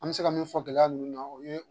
An bɛ se ka min fɔ gɛlɛya ninnu na o ye